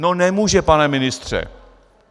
No nemůže, pane ministře.